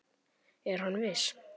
Er hann viss?